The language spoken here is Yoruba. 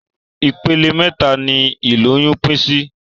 Ipele méta ni ìgbà ìlóyún pín sí